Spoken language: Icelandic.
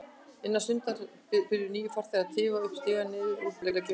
Innan stundar byrja nýir farþegar að tifa upp stigana neðan úr bílageymslunni.